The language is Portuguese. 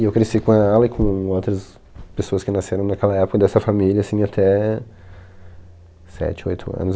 E eu cresci com ela e com outras pessoas que nasceram naquela época dessa família, assim, até sete, oito anos.